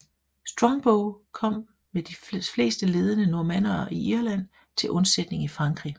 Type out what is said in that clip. Strongbow kom med de fleste ledende normannere i Irland til undsætning i Frankrig